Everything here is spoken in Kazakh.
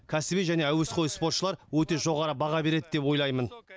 кәсіби және әуесқой спортшылар өте жоғары баға береді деп ойлаймын